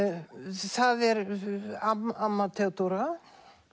það er amma amma Theódóra